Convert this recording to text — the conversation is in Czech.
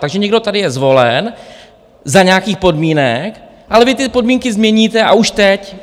Takže někdo tady je zvolen za nějakých podmínek, ale vy ty podmínky změníte, a už teď.